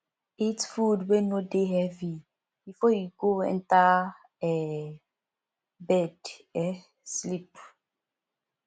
eat food wey no dey heavy before you go enter um bed um sleep